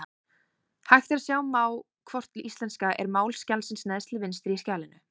Hægt er að sjá má hvort íslenska er mál skjalsins neðst til vinstri í skjalinu.